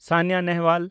Saina Nehwal